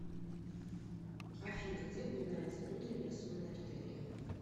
афина где упоминается внутренняя сонная артерия